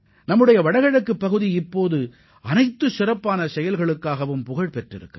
தற்போது தங்களது சிறப்பான செயல்பாடுகளால் வடகிழக்கு மாநிலங்கள் பிரசித்திப் பெற்றுள்ளன